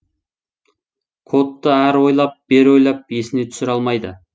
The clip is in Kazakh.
кодты ары ойлап бері ойлап есіне түсіре алмайды